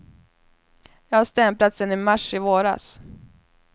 Jag har stämplat sen i mars i våras.